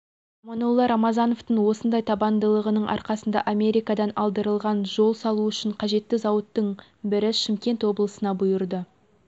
аманнолла рамазановтың осындай табандылығының арқасында америкадан алдырылған жол салу үшін қажетті зауыттың бірі шымкент облысына бұйырды